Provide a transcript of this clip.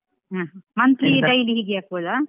ಹ್ಮ್, monthly, daily ಹೀಗೆ ಹಾಕ್ಬೋದ?